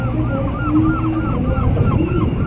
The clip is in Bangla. তত বেশি বলে হবে তাই না